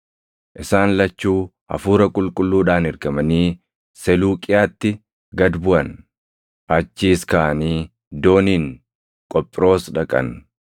Isaan lachuu Hafuura Qulqulluudhaan ergamanii Seluuqiyaatti gad buʼan; achiis kaʼanii dooniin Qophiroos dhaqan.